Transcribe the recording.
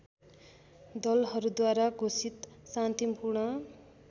दलहरूद्वारा घोषित शान्तिपूर्ण